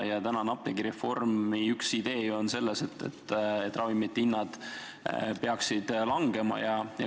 Ja praegu on apteegireformi üks idee selles, et ravimite hinnad peaksid langema.